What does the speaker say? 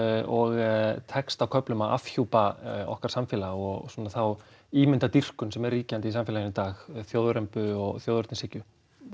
og tekst á köflum að afhjúpa okkar samfélag og þá ímyndardýrkun sem er ríkjandi í samfélaginu í dag þjóðrembu og þjóðernishyggju